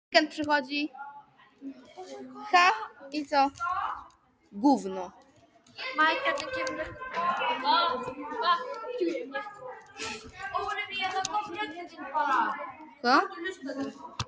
Hvernig gat hún gleymt Týra greyinu?